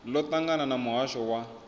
ḽo ṱangana na muhasho wa